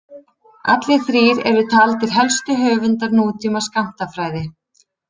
Allir þrír eru taldir helstu höfundar nútíma skammtafræði.